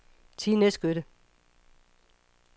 Tine Skytte